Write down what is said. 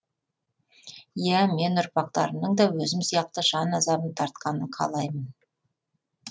иә мен ұрпақтарымның да өзім сияқты жан азабын тартқанын қалаймын